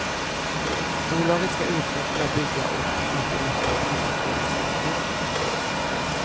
Bolaget ska utveckla, bygga och utrusta billackeringsanläggningar.